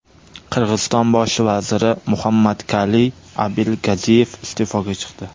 Qirg‘iziston bosh vaziri Muhammadkaliy Abilgaziyev iste’foga chiqdi.